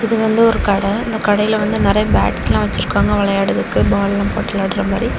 இது வந்து ஒரு கடை இந்த கடையில வந்து நறைய பேட்ஸெல்லா வெச்சிருக்காங்க விளையாட்றதுக்கு பால் எல்லாம் போட்டு விளையாடுற மாரி.